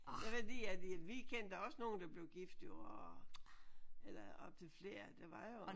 Det er fordi at vi kendte også nogen der blev gift jo og eller op til flere der var jo